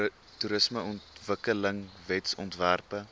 toerismeontwikkelingwetsontwerpe